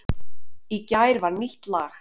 Í gær var nýtt lag